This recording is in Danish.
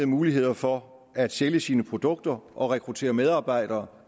muligheder for at sælge sine produkter og rekruttere medarbejdere